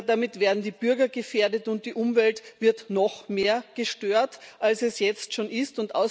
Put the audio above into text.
Damit werden die Bürger gefährdet, und die Umwelt wird noch mehr gestört, als sie es jetzt schon ist.